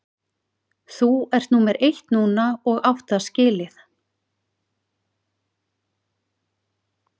Þú ert númer eitt núna og átt það skilið.